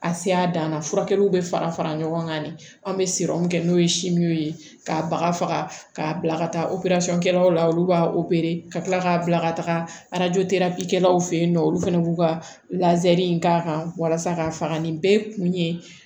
A se a dan na furakɛliw bɛ fara fara ɲɔgɔn kan de an bɛ min kɛ n'o ye ye k'a baga faga k'a bila ka taa kɛlaw la olu b'a ka kila k'a bila ka taga fɛ yen nɔ olu fana b'u ka lazɛri in k'a kan walasa ka faga nin bɛɛ kun ye